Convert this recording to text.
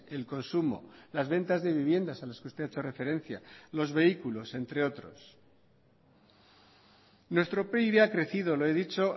el consumo las ventas de viviendas a las que usted ha hecho referencia los vehículos entre otros nuestro pib ha crecido lo he dicho